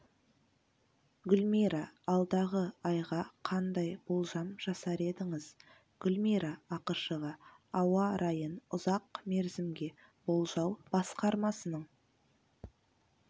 гүлмира алдағы айға қандай болжам жасар едіңіз гүлмира ақышева ауа райын ұзақ мерзімге болжау басқармасының